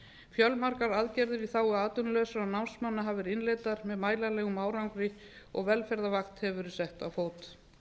fjölmargar aðgerðir í þágu atvinnulausra námsmanna hafa verið innleiddar með mælanlegum árangri og velferðaragn hefur verið sett á fót